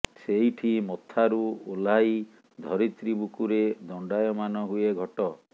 ସେଇଠି ମଥାରୁ ଓହ୍ଲାଇ ଧରିତ୍ରୀ ବୁକୁରେ ଦଣ୍ଡାୟମାନ ହୁଏ ଘଟ